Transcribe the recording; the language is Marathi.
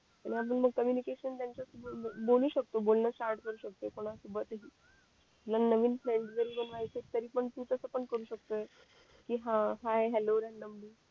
आणि अजून मग बोलू शकतो बोलणं स्टार्ट करू शकतोय कोणा सोबतही तुला नवीन फ्रेइन्ड जरी बनवायचंय तरी पण तू तसं पण करू शकतोय कि हा हाय हॅलो